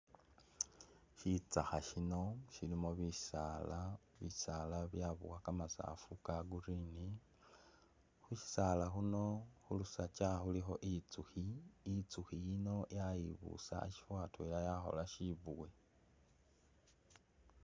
Shitsakha shino shilimo bisaala ,bisaala byabowa kamasaafu ka green khushisaala khuno khulusaga khulikho itsukhi ,itsukhi ino yayibusa ashifo atwela yakhola shibuwe .